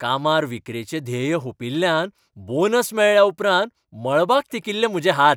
कामार विक्रेचें ध्येय हुंपिल्ल्यान बोनस मेळ्ळ्या उपरांत मळबाक तेंकिल्ले म्हजे हात.